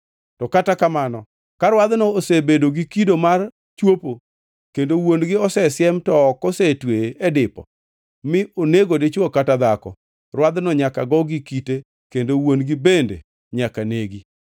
To kata kamano, ka rwadhno osebedo gi kido mar chwopo kendo wuon-gi osesiem to ok osetweye e dipo mi onego dichwo kata dhako, rwadhno nyaka go gi kite kendo wuon-gi bende nyaka negi.